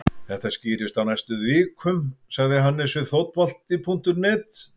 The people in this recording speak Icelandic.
Þetta skýrist á næstu vikum, sagði Hannes við Fótbolta.net.